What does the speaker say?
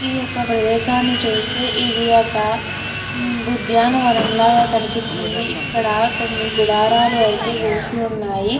ఈ యొక్క ప్రదేశాన్ని చూస్తే ఇది ఒక ఉద్యానవనం లాగా కనిపిస్తుంది ఇక్కడ కొన్ని గుడారాలు అయితే వేసి ఉన్నాయి.